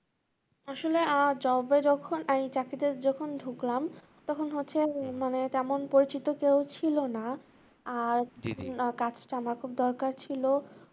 আসলে আহ job এ যখন এই চাকরিটায় যখন ঢুকলাম তখন হচ্ছে মানে তেমন পরিচিত কেউ ছিলনা আর কাজটা আমার খুব দরকার ছিল